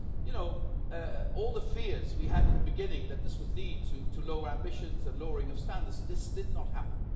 So, you know, all the fears we had at the beginning that this would lead to lower ambitions and a lowering of standards, this did not happen.